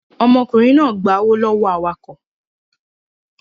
Ọmọkùnrin náà gba owó lọ́wọ́ awakọ̀